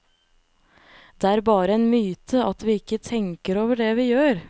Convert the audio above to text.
Det er bare en myte at vi ikke tenker over det vi gjør.